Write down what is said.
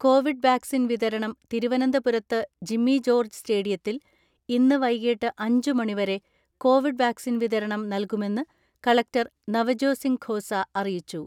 Covid vaccine വിതരണം തിരുവനന്തപുരത്ത് ജിമ്മിജോർജ്ജ് സ്റ്റേഡിയത്തിൽ ഇന്ന് വൈകിട്ട് അഞ്ചു മണിവരെ കോവിഡ് വാക്സിൻ വിതരണം നല്കുമെന്ന് കളക്ടർ നവജോസിംഗ് ഖോസ അറിയിച്ചു.